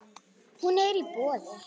Hún er í boði.